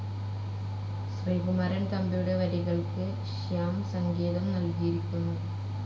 ശ്രീകുമാരൻ തമ്പിയുടെ വരികൾക്ക് ശ്യാം സംഗീതം നൽകിയിരിക്കുന്നു..